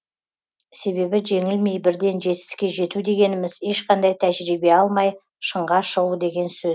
себебі жеңілмей бірден жетістікке жету дегеніміз ешқандай тәжірибе алмай шыңға шығу деген